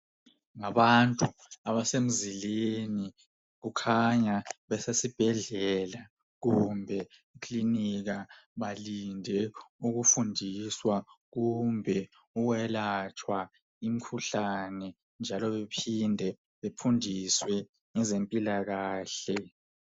Abantu balindile emzileni kukhanya basesibhedlela kumbe ekilinika .Balinde ukufundisa ngezempilakahle lokwelatshwa imikhuhlane etshiyeneyo.